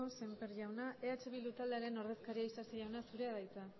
semper jauna eh bildu taldearen ordezkaria isasi jauna zurea da hitza